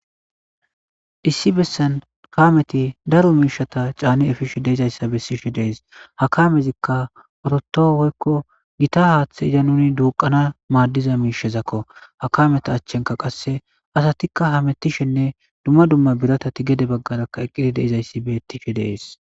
Issi besan kameti daro mishata qaani efiyaysa besishe des. Ha kaamezik oroto woyko Gita hathe nuni izan duqana madiza mishazako. Ha kameta achanka qase asatika hametishenne dumma dumma biratatika gede bagara eqidi de'izaysi betishe de'es.